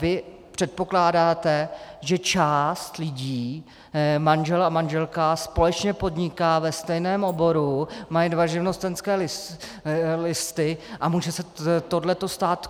Vy předpokládáte, že část lidí, manžel a manželka společně podnikají ve stejném oboru, mají dva živnostenské listy a může se tohle stát.